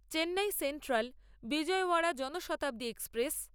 Chennai central বিজয়ওরা Janshatabdi express